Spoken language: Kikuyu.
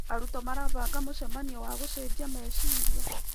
Arutwo marabanga mũcemanio wa gũcenjia meciria.